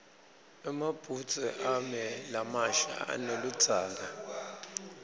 emabhudze ami lamasha aneludzaka